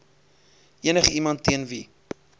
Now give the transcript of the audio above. enigiemand teen wie